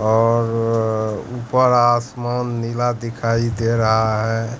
और ऊपर आसमान नीला दिखाई दे रहा है